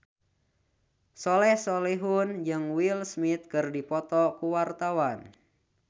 Soleh Solihun jeung Will Smith keur dipoto ku wartawan